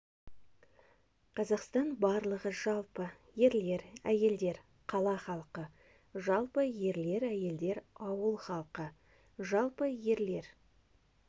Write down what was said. қазақстан барлығы жалпы ерлер әйелдер қала халқы жалпы ерле әйелр дер ауыл халқы жалпы ерле